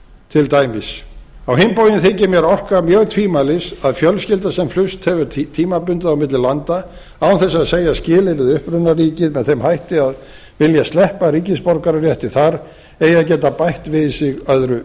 til dæmis á hinn bóginn þykir mér orka mjög tvímælis að fjölskylda sem flust hefur tímabundið á milli landa án þess að segja skilið við upprunaríkið með þeim hætti að vilja sleppa ríkisborgararétt þar eigi að geta bætt við sig öðru